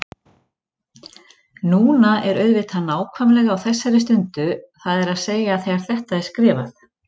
Núna er auðvitað nákvæmlega á þessari stundu, það er að segja þegar þetta er skrifað.